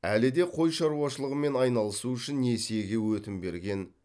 әлі де қой шаруашылығымен айналысу үшін несиеге өтім берген